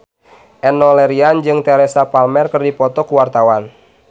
Enno Lerian jeung Teresa Palmer keur dipoto ku wartawan